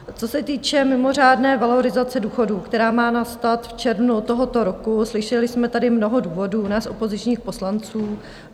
Co se týče mimořádné valorizace důchodů, která má nastat v červnu tohoto roku, slyšeli jsme tady mnoho důvodů nás opozičních poslanců.